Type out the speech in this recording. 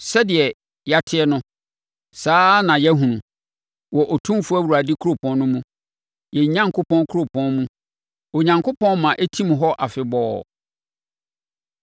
Sɛdeɛ yɛate no, saa ara na yɛahunu wɔ Otumfoɔ Awurade kuropɔn no mu, yɛn Onyankopɔn kuropɔn mu; Onyankopɔn ma ɛtim hɔ afebɔɔ.